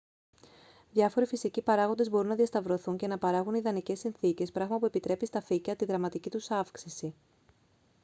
διάφοροι φυσικοί παράγοντες μπορούν να διασταυρωθούν και να παράγουν ιδανικές συνθήκες πράγμα που επιτρέπει στα φύκια τη δραματική τους αύξηση